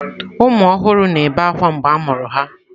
Ụmụ ọhụrụ na-ebe akwa mgbe a mụrụ ha.